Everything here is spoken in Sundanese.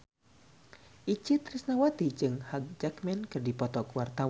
Itje Tresnawati jeung Hugh Jackman keur dipoto ku wartawan